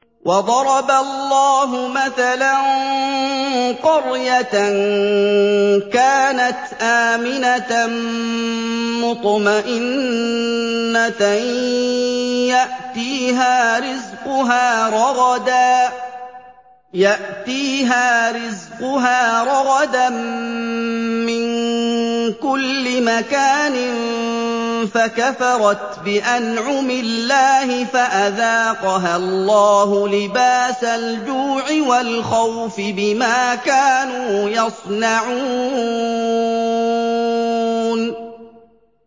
وَضَرَبَ اللَّهُ مَثَلًا قَرْيَةً كَانَتْ آمِنَةً مُّطْمَئِنَّةً يَأْتِيهَا رِزْقُهَا رَغَدًا مِّن كُلِّ مَكَانٍ فَكَفَرَتْ بِأَنْعُمِ اللَّهِ فَأَذَاقَهَا اللَّهُ لِبَاسَ الْجُوعِ وَالْخَوْفِ بِمَا كَانُوا يَصْنَعُونَ